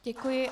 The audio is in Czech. Děkuji.